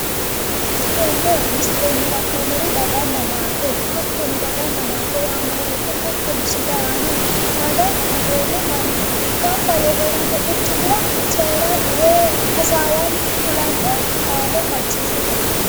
Tenne misilenni la'noommori daganna maate hattono daganna maate yaanno woyite hattono sidaami daga dagoomu manni gamba yee heeranno quchumira coyiranni woyi hasawaanni kulanno qaale maccishshatenniiti.